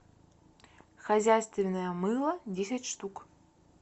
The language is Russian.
хозяйственное мыло десять штук